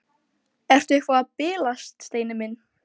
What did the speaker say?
Ertu eitthvað að bilast, Steini minn?